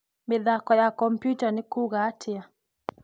mĩthako ya kompiuta nĩ kuuga atĩa